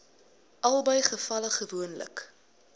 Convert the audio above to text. albei gevalle gewoonlik